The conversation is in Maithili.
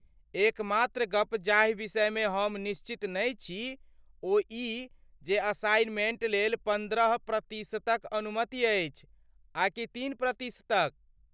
एकमात्र गप जाहि विषयमे हम निश्चित नहि छी ओ ई जे असाइनमेंट लेल पन्द्रह प्रतिशतक अनुमति अछि आकि तीन प्रतिशतक।